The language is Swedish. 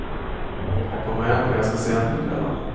Jag kommer hem ganska sent på kvällarna.